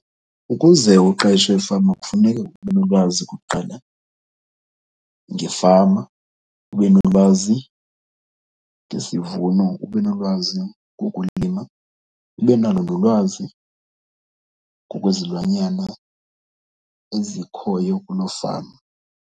Ukuze uqeshwe efama kufuneke ube nolwazi okokuqala ngefama, ube nolwazi ngesivuno ube nolwazi ngokulima, ube nalo nolwazi ngokwezilwanyana ezikhoyo kuloo fama.